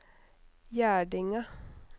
Gjerdinga